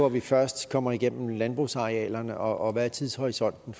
at vi først kommer igennem landbrugsarealerne og hvad er tidshorisonten